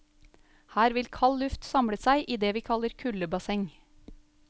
Her vil kald luft samle seg i det vi kaller kuldebasseng.